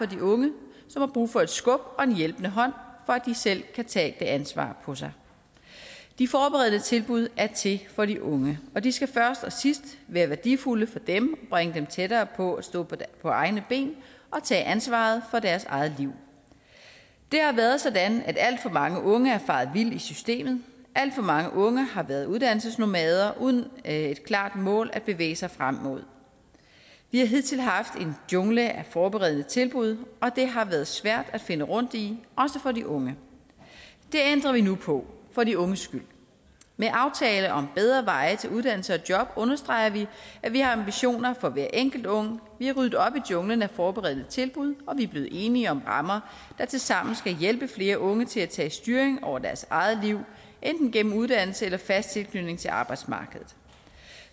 de unge som har brug for et skub og en hjælpende hånd for at selv kan tage det ansvar på sig de forberedende tilbud er til for de unge og de skal først og sidst være værdifulde for dem bringe dem tættere på at stå på egne ben og tage ansvaret for deres eget liv det har været sådan at alt for mange unge er faret vild i systemet alt for mange unge har været uddannelsesnomader uden et klart mål at bevæge sig frem imod vi har hidtil haft en jungle af forberedende tilbud og det har været svært at finde rundt i også for de unge det ændrer vi nu på for de unges skyld med aftale om bedre veje til uddannelse og job understreger vi at vi har ambitioner for hver enkelt ung vi har ryddet op i junglen af forberedende tilbud og vi er blevet enige om rammer der tilsammen skal hjælpe flere unge til at tage styringen over deres eget liv enten gennem uddannelse eller fast tilknytning til arbejdsmarkedet